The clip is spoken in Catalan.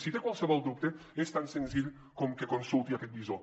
si té qualsevol dubte és tan senzill com que consulti aquest visor